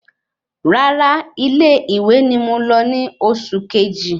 Rárá ilé ìwé ni mo lọ ni oṣù keji